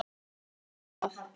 var hrópað.